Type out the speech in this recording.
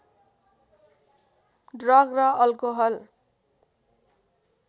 drug र alcohol